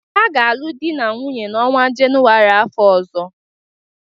Ha ga-alụ di na nwunye n'ọnwa Jenuwarị afọ ọzọ.